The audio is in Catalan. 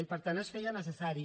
i per tant es feia necessari